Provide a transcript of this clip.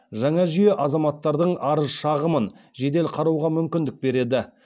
жаңа жүйе азаматтардың арыз шағымын жедел қарауға мүмкіндік береді